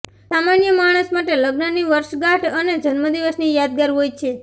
સામાન્ય માણસ માટે લગ્નની વર્ષગાંઠ અને જન્મદિવસ યાદગાર હોય છે